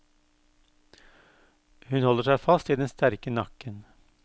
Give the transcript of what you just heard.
Hun holder seg fast i den sterke nakken.